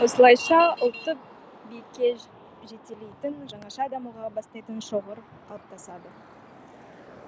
осылайша ұлтты биікке жетелейтін жаңаша дамуға бастайтын шоғыр қалыптасады